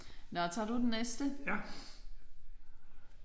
Nåh tager du den næste?